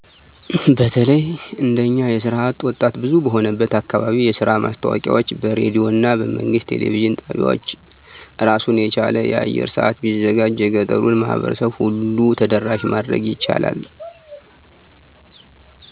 በተለይ እንደኛ የስራ አጥ ወጣት ብዙ በሆነበት አካባቢ የስራ ማስታወቂያወች በሬዲዮና በመንግስት የቴሌቪዥን ጣቢያወች አራሱን የቻለ የአየር ሰአት ቢዘጋጅ የገጠሩን ማህበረሰብ ሁሉ ተደራሽ ማድረግ ይቻላል።